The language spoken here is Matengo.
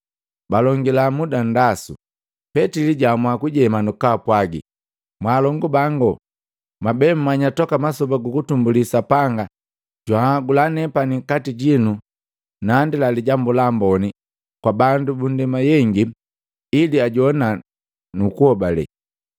Balongila muda nndasu, Petili jaamua kujema nukupwaga, “Mwalongubangu, mwabe mmanya toka masoba gukutumbuli Sapanga jwanhagula nepani nkati jitu nandila Lijambu la Amboni kwaka bandu bandema yengi, ili ajowana nukuhobale.